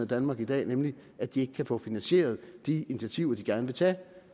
danmark i dag nemlig at de ikke kan få finansieret de initiativer de gerne vil tage